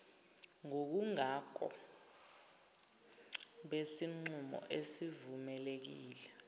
ngobungako besinqumo esivumelekile